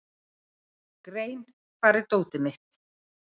Grein, hvar er dótið mitt?